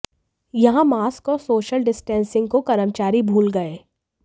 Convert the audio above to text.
यहां मास्क और social distancing को कर्मचारी भूल गए